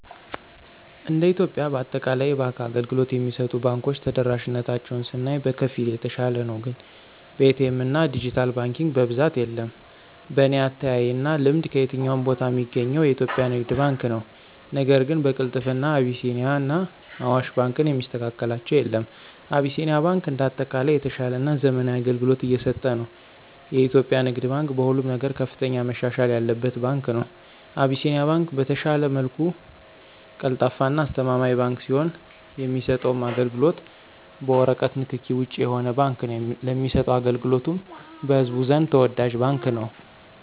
እንደ ኢትዮጵያ በአጠቃላይ የባንክ አገልግሎት የሚሰጡ ባንኮች ተደራሽነታቸውን ስናይ በከፊል የተሻለ ነው ግን በኤ.ቲ. ኤምና ድጅታል ባንኪንግ በብዛት የለም። በኔ አተያይና ልምድ ከየትኛውም ቦታ ሚገኘው የኢትዮጵያ ንግድ ባንክ ነው ነገር ግን በቅልጥፍና አቢሲኒያና አዋሽ ባንክን የሚስተካከላቸው የለም። አቢሲኒያ ባንክ እንደ አጠቃላይ የተሻለና ዘመናዊ አገልግሎት እየሰጠ ነው። የኢትዮጵያ ንግድ ባንክ በሁሉም ነገር ከፍተኛ መሻሻል ያለበት ባንክ ነው። አቢሲኒያ ባንክ በተሻለ መልኩ ቀልጣፋና አስተማማኝ ባንክ ሲሆን የሚሰጠውም አገልግሎት በወረቀት ንክኪ ውጭ የሆነ ባንክ ነው ለሚሰጠው አገልግሎቱም በህዝቡ ዘንድ ተወዳጅ ባንክ ነው።